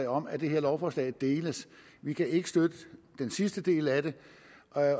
om at det her lovforslag deles vi kan ikke støtte den sidste del af det